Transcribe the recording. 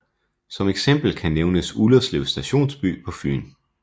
Som eksempel kan nævnes Ullerslev stationsby på Fyn